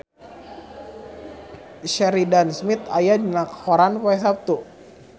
Sheridan Smith aya dina koran poe Saptu